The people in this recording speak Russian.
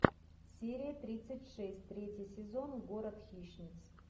серия тридцать шесть третий сезон город хищниц